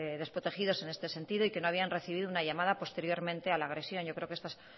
desprotegidos en este sentido y que no habían recibido una llamada posteriormente a la agresión yo creo que estas